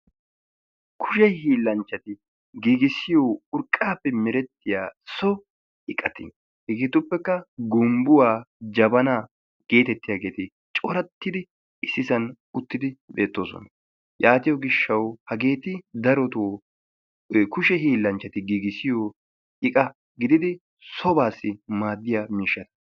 Kushe hiillanchchati giigissiyoo urqqaappe merettiyaa so iqati hegeetuppekka gumbbuwa, jabanaa geetettiyaageeti corattidi issisan uttidi beettoosona. Yaatiyoo gishshaw hageeti darotoo kushe hiillanchchati giigissiyoo iqa gididi sobaassi maaddiya miishshata.